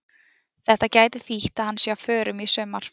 Þetta gæti þýtt að hann sé á förum í sumar.